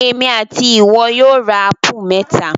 Èmi and ìwọ yóò ra ápù mẹ́ta